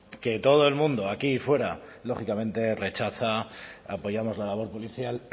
que todo el mundo aquí fuera lógicamente rechaza apoyamos la labor policial